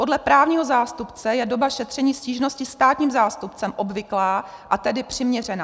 Podle právního zástupce je doba šetření stížnosti státním zástupcem obvyklá, a tedy přiměřená.